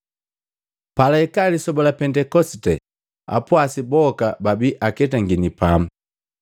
Palaika lisoba la Pentekosite, apwasi boka babi aketangini pamu.